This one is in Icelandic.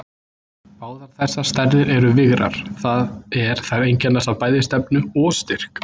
Báðar þessar stærðir eru vigrar, það er þær einkennast af bæði stefnu og styrk.